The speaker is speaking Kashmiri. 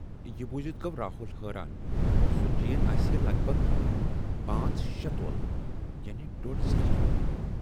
یہِ بوٗزِتھ گَو راہُل حٲران زِ سۅ چین آسہِ ہے لگ بگ پانژھ شے تولہٕ یعنی ڈۅڈ زٕ لچھ رۅپیہِ۔